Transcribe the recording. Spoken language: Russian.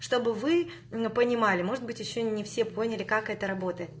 чтобы вы понимали может быть ещё не все поняли как это работает